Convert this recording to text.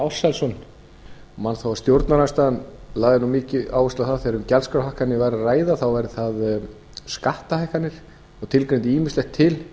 ársælsson ég man hvað stjórnarandstaðan lagði nú mikið áherslu á það þegar um gjaldskrárhækkanir væri að ræða þá væri það skattahækkanir og tilgreindu ýmislegt til